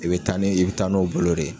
I bi taa ni i bi taa n'o bolo de.